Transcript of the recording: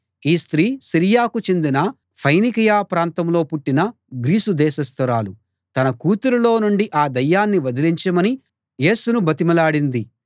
ఈ స్త్రీ సిరియాకు చెందిన ఫెనికయా ప్రాంతంలో పుట్టిన గ్రీసు దేశస్తురాలు తన కూతురులో నుండి ఆ దయ్యాన్ని వదిలించమని యేసును బతిమలాడింది